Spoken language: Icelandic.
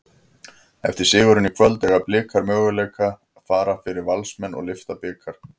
Eftir sigurinn í kvöld, eiga Blikar möguleika fara yfir Valsmenn og lyfta bikar?